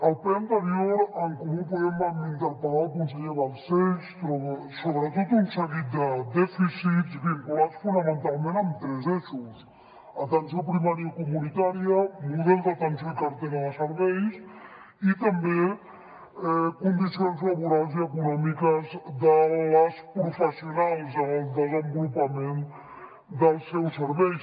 al ple anterior en comú podem vam interpel·lar el conseller balcells sobre tot un seguit de dèficits vinculats fonamentalment amb tres eixos atenció primària comunitària model d’atenció i cartera de serveis i també condicions laborals i econòmiques de les professionals en el desenvolupament dels seus serveis